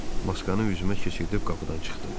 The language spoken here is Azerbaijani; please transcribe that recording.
Maskanı üzümə keçirib qapıdan çıxdım.